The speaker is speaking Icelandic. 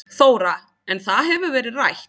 Þóra: En það hefur verið rætt?